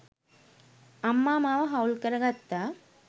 අම්මා මාව හවුල් කර ගත්තා.